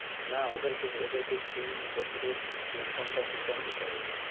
না ওদেরকে ওদেরকে তিন বছরের income tax return দিতে হবে।